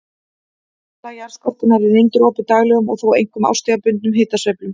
Efsta lag jarðskorpunnar er undirorpið daglegum og þó einkum árstíðabundnum hitasveiflum.